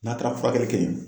N'a taara furakɛli kɛ yen